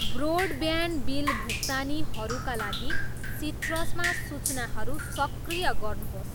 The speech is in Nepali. ब्रोडब्यान्ड बिल भुक्तानीहरूका लागि सिट्रसमा सूचनाहरू सक्रिय गर्नुहोस्।